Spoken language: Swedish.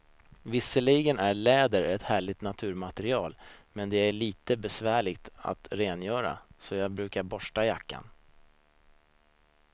Visserligen är läder ett härligt naturmaterial, men det är lite besvärligt att rengöra, så jag brukar borsta jackan.